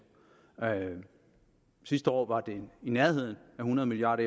sidste år var det i nærheden af hundrede milliard